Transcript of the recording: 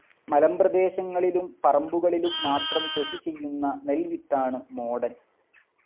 മലമ്പ്രദേശങ്ങളിലും പറമ്പുകളിലും മാത്രം കൃഷിചെയ്യുന്ന നെൽ വിത്താണ് മോടൻ.